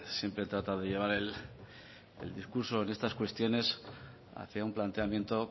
siempre trata de llevar el discurso en estas cuestiones hacia un planteamiento